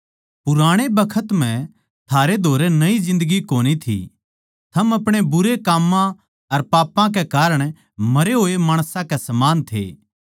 पुराणे बखत म्ह थारै धोरै नई जिन्दगी कोनी थी थम आपणे बुरे काम्मां अर पापां के कारण मरे होए माणसां के समान थे